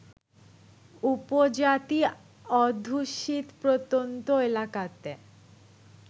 উপজাতি অধ্যুষিত প্রত্যন্ত এলাকাতে